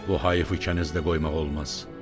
“Bu hayıfı kənizdə qoymaq olmaz.